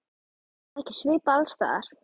Er það ekki svipað alls staðar?